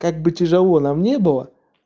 как бы тяжело нам не было